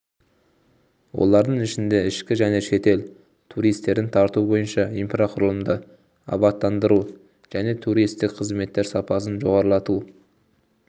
олардың ішінде ішкі және шетел туристерін тарту бойынша инфрақұрылымды абаттандыру және туристік қызметтер сапасын жоғарылату